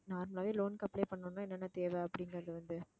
normal ஆவே loan க்கு apply பண்ணணும்னா என்னென்ன தேவை அப்படிங்கிறது வந்து